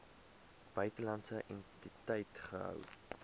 buitelandse entiteit gehou